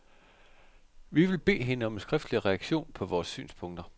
Vi vil bede hende om en skriftlig reaktion på vores synspunkter.